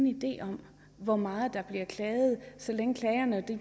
idé om hvor meget der bliver klaget så længe klagerne